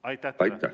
Aitäh!